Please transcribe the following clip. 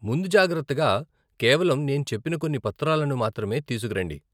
ముందుజాగ్రత్తగా, కేవలం నేను చెప్పిన కొన్ని పత్రాలను మాత్రమే తీసుకురండి.